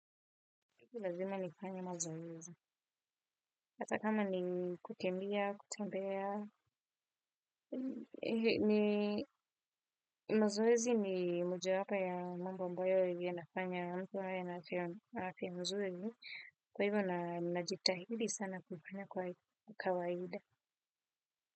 Hivyo lazima ni kufanya mazoezi, hata kama ni kukendia, kutembea, ni mazoezi ni moja hapa ya mambo ambayo hivyo nafanya mtho ya na afia mzuri, kwa hivyo na jitahidi sana kufanya kwa kawaida.